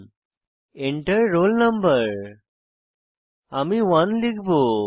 Enter roll no আমি 1 লিখব